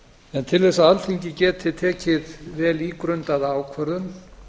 en til að alþingi geti tekið vel ígrundaða ákvörðun